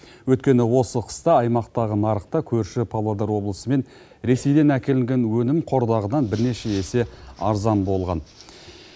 өйткені осы қыста аймақтағы нарықта көрші павлодар облысы мен ресейден әкелінген өнім қордағыдан бірнеше есе арзан болған